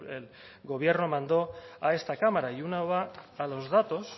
el gobierno mandó a esta cámara y uno va a los datos